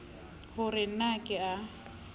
ho re na ke a